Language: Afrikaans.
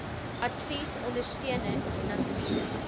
advies ondersteuning finansiering